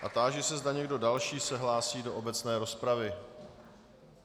A táži se, zda někdo další se hlásí do obecné rozpravy.